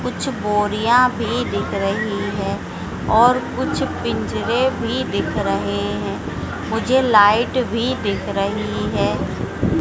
कुछ बोरियां भी दिख रही है और कुछ पिंजरे भी दिख रहे हैं मुझे लाइट भी दिख रही है।